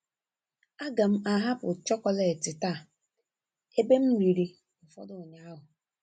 A ga m ahapụ chọkọletị taa ebe m riri ụfọdụ ụnyaahụ.